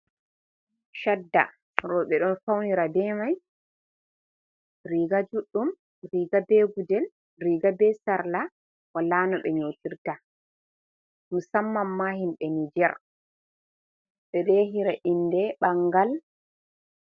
Shadda rooɓe ɗo faunira be mai, riga juɗɗum, riga be gudel, riga be sarla, wala nou ɓe nyotirta, musamman ma himɓe nijer ɓe ɗo yahira inde ɓangal.